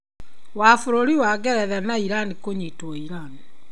Wa bũrũri wa Ngeretha na Iran kũnyitwo Iran.